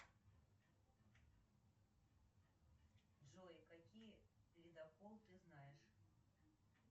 джой какие ледокол ты знаешь